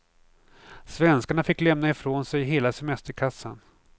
Svenskarna fick lämna ifrån sig hela semesterkassan.